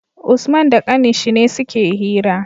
Usman da ƙanin shi ne suke hira